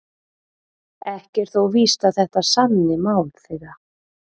Ekki er þó víst að þetta sanni mál þeirra.